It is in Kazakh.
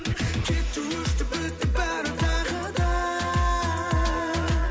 кетті өшті бітті бәрі тағы да